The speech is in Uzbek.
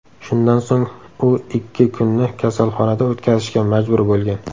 Shundan so‘ng u ikki kunni kasalxonada o‘tkazishga majbur bo‘lgan.